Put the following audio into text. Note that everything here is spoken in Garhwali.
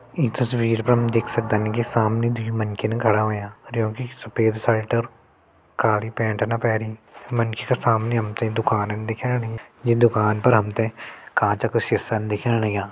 ई तस्वीर पर हम देख सक्दन कि सामने दुई मनखिन खड़ा होंया। अर यूं की सफेद शर्ट अर काली पैन्ट ना पहरीं। मनखि क सामने हमते दुकानन दिखेण लगीं। ये दुकान पर हमते कांचो का सिसन दिखेण लग्यां।